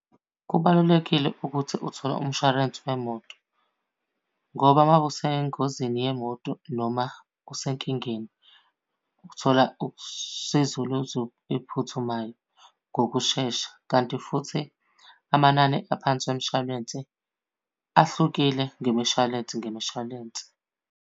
Kubalulekile ukuthi uthole umshwarensi wemoto. Ngoba uma ngabe usengozini yemoto noma usenkingeni, ukuthola usizo eliphuthumayo ngokushesha. Kanti futhi amanani aphansi wemshwalense ahlukile ngemishwalense ngemishwalense.